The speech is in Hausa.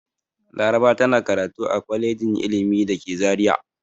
Laraba tana karatu a kwalejin ilimi da ke Zariya.